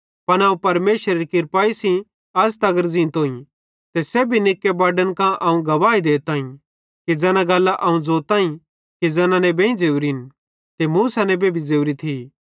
पन अवं परमेशरेरी किर्पाई सेइं अज़ तगर ज़ींतोईं ते सेब्भी निक्के बड्डन कां अवं गवाही देताईं कि ज़ैना गल्लां अवं ज़ोताईं कि ज़ैना नेबेईं ज़ोरी थी ते मूसा नेबे भी ज़ोरी थी